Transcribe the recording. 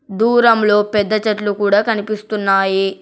దూరంలో పెద్ద చెట్లు కూడ కనిపిస్తున్నాయి.